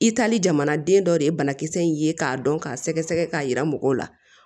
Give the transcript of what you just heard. I taali jamanaden dɔ de ye banakisɛ in ye k'a dɔn k'a sɛgɛsɛgɛ k'a yira mɔgɔw la